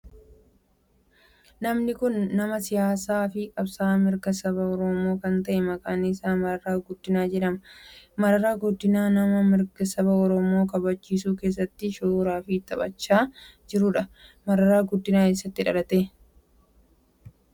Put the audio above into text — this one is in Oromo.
Namni kun nama siyaasaa fi qabsa'aa mirga saba oromoo kan ta'e maqaan isaa Mararaa Guddinaa jedhama. Mararaa Guddinaa nama mirga saba oromoo kabachiisuu keessatti shoora ofi taphachaa jirudha. Mararaa Guddinaa eessatti dhalate?